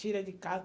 Tira de casa.